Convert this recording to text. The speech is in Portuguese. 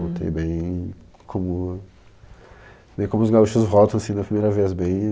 Voltei bem como, bem como os gaúchos voltam, assim, na primeira vez assim bem